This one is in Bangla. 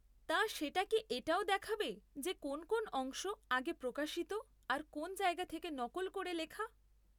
তা, সেটা কি এটাও দেখাবে যে কোন কোন অংশ আগে প্রকাশিত আর কোন জায়গা থেকে নকল করে লেখা?